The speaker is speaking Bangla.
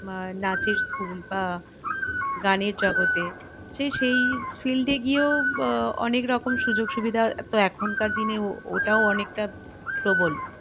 আহ নাচের school আহ গানের জগতে সে~সেই field এ গিয়েও আহ অনেক রকম সুযোগ সুবিধা তো এখন কার দিনেও ওটাও অনেকটা প্রবল